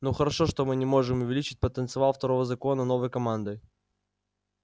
ну хорошо мы не можем увеличить потенциал второго закона новой командой